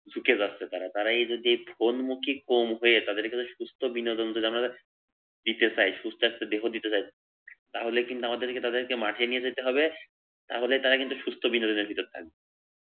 ঝুঁকে যাচ্ছে তারা, তারা এ যদি ফোন মুখী কম হয়ে তাদেরকে যদি সুস্থ বিনোদন যদি দিতে চায় সুস্থ একটা দেহ দিতে চায় তাহলে কিন্তু আমাদেরকে তাদেরকে মাঠে নিয়ে যেতে হবে তাহলে তারা কিন্তু সুস্থ বিনোদন দিকে থাকবে।